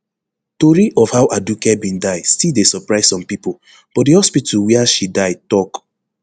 tori of how aduke bin die still dey surprise some pipo but di hospital wia she die tok